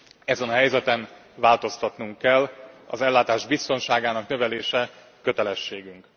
Ezen a helyzeten változtatnunk kell, az ellátás biztonságának növelése kötelességünk.